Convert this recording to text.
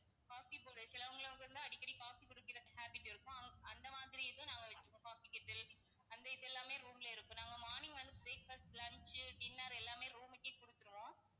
coffee போடற சிலவங்களாம் வந்து அடிக்கடி coffee குடிக்கற habit இருக்கும். அவங்க~ அந்த மாதிரி இதும் நாங்க வச்சிருக்கோம் coffee kettle அந்த இது எல்லாமே room ல இருக்கு. நாங்க morning வந்து breakfast, lunch, dinner எல்லாமே room க்கே கொடுத்துருவோம்.